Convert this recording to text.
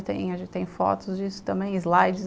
A gente tem fotos disso também, slides.